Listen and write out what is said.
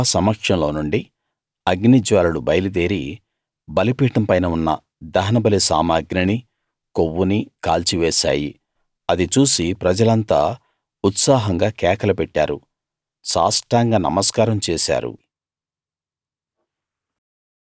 యెహోవా సమక్షం లోనుండి అగ్నిజ్వాలలు బయలుదేరి బలిపీఠం పైన ఉన్న దహనబలి సామగ్రినీ కొవ్వునీ కాల్చి వేశాయి అది చూసి ప్రజలంతా ఉత్సాహంగా కేకలు పెట్టారు సాష్టాంగ నమస్కారం చేశారు